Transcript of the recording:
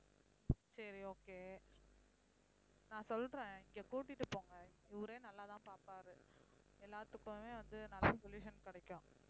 சரி okay நான் சொல்றேன் இங்க கூட்டிட்டு போங்க இவரே நல்லாதான் பார்ப்பாரு எல்லாத்துக்குமே வந்து நல்ல solution கிடைக்கும்